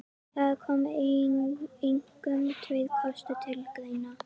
Þar koma einkum tveir kostir til greina.